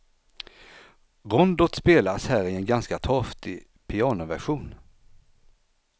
Rondot spelas här i en ganska torftig pianoversion.